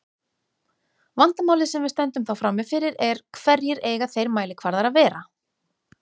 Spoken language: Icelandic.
Vandamálið sem við stöndum þá frammi fyrir er: Hverjir eiga þeir mælikvarðar að vera?